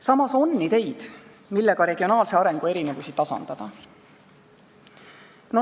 Samas on ideid, millega regionaalse arengu erinevusi tasandada.